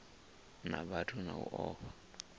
na vhathu na u fha